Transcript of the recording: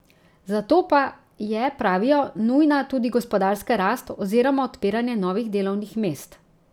Za to pa je, pravijo, nujna tudi gospodarska rast oziroma odpiranje novih delovnih mest.